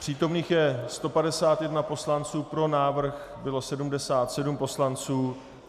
Přítomných je 151 poslanců, pro návrh bylo 77 poslanců.